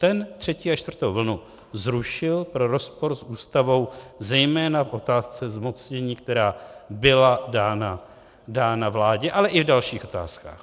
Ten třetí a čtvrtou vlnu zrušil pro rozpor s Ústavou zejména v otázce zmocnění, která byla dána vládě, ale i v dalších otázkách.